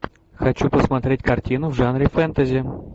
хочу посмотреть картину в жанре фэнтези